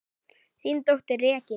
Þín dóttir, Regína.